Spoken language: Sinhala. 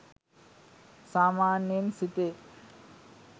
සාමාන්‍යයෙන් සිතේ.